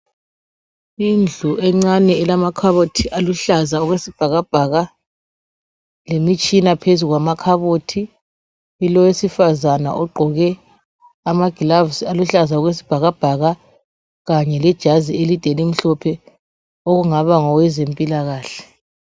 indlu encane elamakhabothi aluhlaza okwesibhakabhaka lemitshina phezu kwamakhabothi kulowesifazana ogqoke ama gloves aluhlaza okwesibhakabhaka kanye lijazi elide elimhlophe kungaba ngowezempilakahle